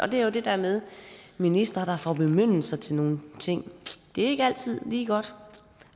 det er jo det der med ministre der får bemyndigelser til nogle ting det er ikke altid lige godt